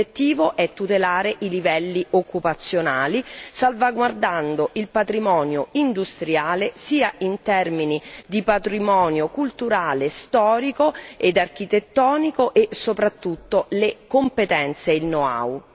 L'obiettivo è tutelare i livelli occupazionali salvaguardando il patrimonio industriale in termini di patrimonio culturale, storico ed architettonico e soprattutto le competenze e il know how.